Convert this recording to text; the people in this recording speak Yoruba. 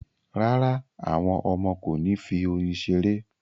Rárá, àwọn ọmọ kò ní fi oyin ṣeré